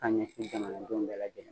Ka ɲɛsin jamanadenw bɛɛ lajɛlen ma